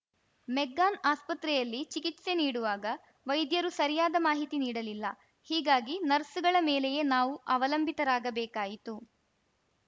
McGann ಆಸ್ಪತ್ರೆಯಲ್ಲಿ ಚಿಕಿತ್ಸೆ ನೀಡುವಾಗ ವೈದ್ಯರು ಸರಿಯಾದ ಮಾಹಿತಿ ನೀಡಲಿಲ್ಲ ಹೀಗಾಗಿ ನರ್ಸ್‌ಗಳ ಮೇಲೆಯೇ ನಾವು ಅವಲಂಬಿತರಾಗಬೇಕಾಯಿತು